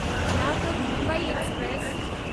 Latur Mumbai express